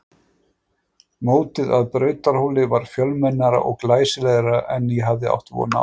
Mótið að Brautarhóli var fjölmennara og glæsilegra en ég hafði átt von á.